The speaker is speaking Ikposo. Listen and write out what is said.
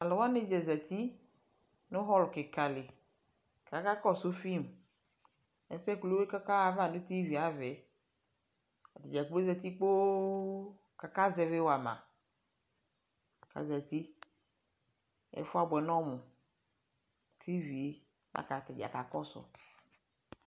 taluwanidza zeti nu hall kikali kakakɔsu film ɛsɛkulukɔkahava nu tv ava atadzakploo zeti kpoo kaka zɛvi wama azati ɛfuabwɛ nɔmu tv laku atadza kakɔsu